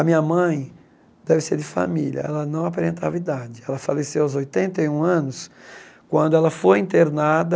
A minha mãe, deve ser de família, ela não aparentava idade, ela faleceu aos oitenta e um anos, quando ela foi internada,